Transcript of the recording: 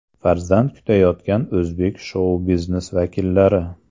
Farzand kutayotgan o‘zbek shou-biznesi vakillari .